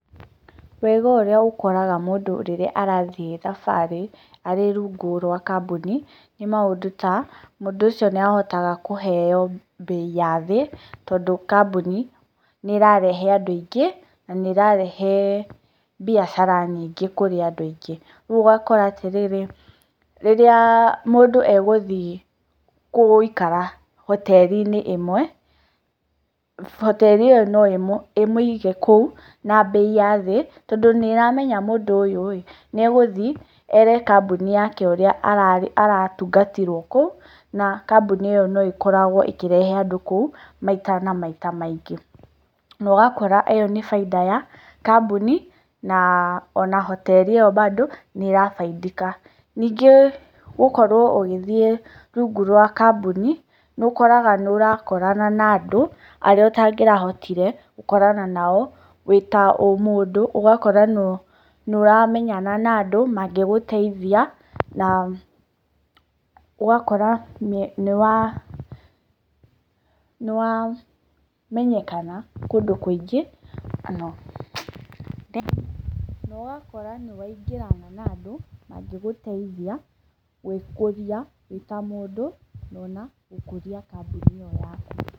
Wega ũrĩa ũkoraga mũndũ rĩrĩa arathiĩ thabarĩ arĩ rungu rwa kambuni nĩ maũndũ ta; Mũndũ ũcio nĩ ahotaga kũheo mbei ya thĩ tondũ kambuni nĩ ĩrarehe andũ aingĩ na nĩ ĩrarehe biacara nyingĩ kũrĩ andũ aingĩ. Rĩu ũgakora atĩ rĩrĩ, rĩrĩa mũndũ egũthiĩ gũikara hoteri-inĩ ĩmwe, hoteri ĩyo no ĩmũige kũu na mbei ya thĩ tondũ nĩ ĩramenya atĩ mũndũ ũyũ ĩĩ nĩ egũthiĩ ere kambuni yake ũrĩa aratungatirwo kũu na kambuni ĩyo no ĩkoragwo ĩkĩrehe andũ kũu maikarage maita maingĩ. Na ũgakora ĩyo nĩ baita ya kambuni na ona hoteri ĩyo bado nĩ ĩra faidika. Ningĩ gũkorwo ũgĩthiĩ rungu rwa kambuni nĩ ũkoraga nĩ ũrakorana na andũ arĩa ũtangĩrahotire gũkorana nao wĩ ta o mũndũ. Ũgakora nĩ ũramenyana na andũ mangĩgũteithia na ũgakora nĩ wa nĩ wamenyekana kũndũ kũingi na ũgakora nĩ waingĩrana na andũ mangĩgũteithia gwĩkũria wĩ ta mũndũ ona gũkũria kambuni ĩyo yaku.